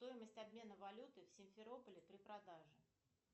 стоимость обмена валюты в симферополе при продаже